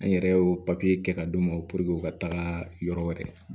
An yɛrɛ y'o papiye kɛ ka d'u ma u ka taga yɔrɔ wɛrɛ